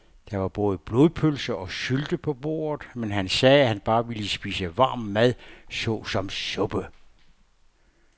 Der var både blodpølse og sylte på bordet, men han sagde, at han bare ville spise varm mad såsom suppe.